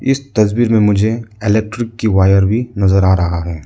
इस तस्वीर में मुझे इलेक्ट्रिक की वायर भी नजर आ रहा है।